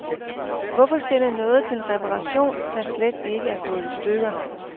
Hvorfor sende noget til reparation, der slet ikke er gået i stykker.